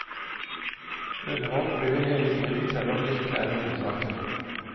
Underholdt blir vi hele tiden, selv om det ikke er hovedsaken.